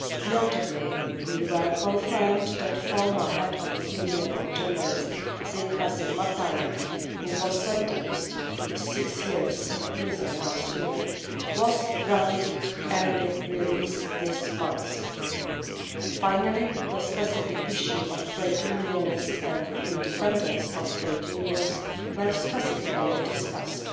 Notably, it was confirmed to us that former head of the Union of Journalists, Seitqazy Mataev, who was sentenced to six years in prison last year, was granted early release this month. Finally, the specific issue of trade unionists and the independence of trade unions were specifically discussed.